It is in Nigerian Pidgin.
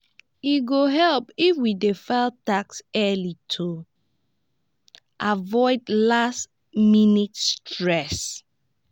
e go help if we dey file taxes early to avoid last-minute stress.